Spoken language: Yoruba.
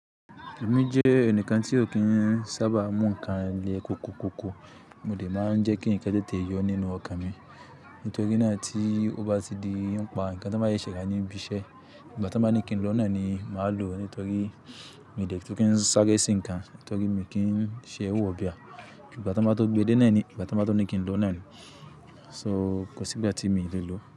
Èmi jẹ́ ẹnìkan tí ó kì í sábà mú nǹkan le koko koko, mo dè máa ń jẹ́ kí ǹkan tètè yọ nínú ọkàn mi. Nítorí náà tí ó bá ti di ọ̀pá, ǹkan tí wọ́n bá yẹ ṣe kí a ní ibi iṣẹ́, ìgbà tí wọ́n bá ní kí n lọ nàání, màá lọ nítorí mo lè tó kí ń sáré sin ǹkan nítorí mi kí ń ṣe èwù ọ̀bẹ á. Ìgbà tí wọ́n bá tó gbe dé nàání, ìgbà tí wọ́n bá tó ní kí n lọ nàání, so kò sí ìgbà tí mo lè lọ.